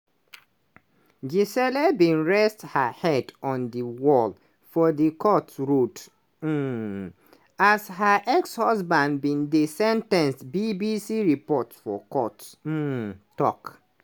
gisele bin rest her head on di wall for di court rod um as her ex-husband bin dey sen ten ced bbc report for court um tok.